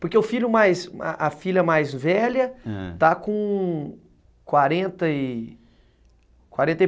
Porque o filho, a filha mais velha, ãh, está com quarenta e, quarenta e